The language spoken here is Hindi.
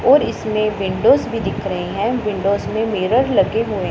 और इसमें विंडो भी दिख रहे हैं विंडो में मिरर लगे हुए--